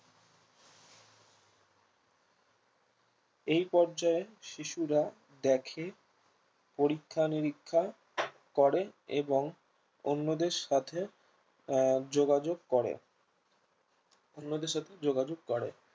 এই পর্যায় এ শিশুরা দেখে পরীক্ষা নিরীক্ষা করে এবং অন্যদের সাথে আহ যোগাযোগ করে অন্যদের সাথে যোগাযোগ করে